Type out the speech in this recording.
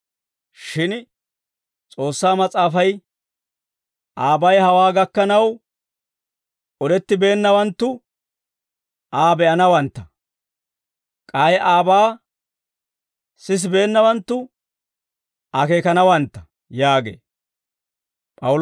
Shin S'oossaa Mas'aafay, «Aabay hawaa gakkanaw odettibeennawanttu Aa be'anawantta; k'ay aabaa sisibeennawanttu akeekanawantta» yaagee.